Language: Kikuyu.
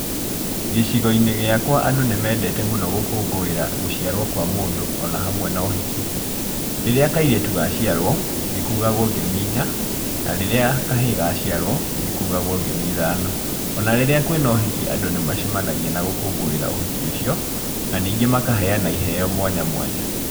Gĩcigo-inĩ gĩakwa andũ nĩ mendete mũno gũkũngũĩra gũciarwo kwa mũndũ, o na hamwe na ũhiki. Rĩria kairĩtu gaciarwo, nĩ kugagwo ngemi inya, na rĩrĩa kahĩ gaciarwo, nĩ kugagwo ngemi ithano. O na rĩrĩa kwĩna ũhiki, andũ nĩ macemanagia na gũkũngũĩra ũhiki ũcio, na ningĩ makaheana iheo mwanya mwanya.